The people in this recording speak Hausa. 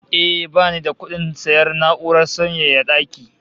Eh, bani da kudin sayan na'urar sanyaya daki